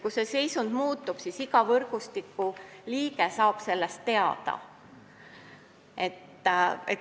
Kui seisund muutub, siis saab iga võrgustiku liige sellest teada.